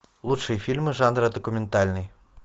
лучшие фильмы жанра документальный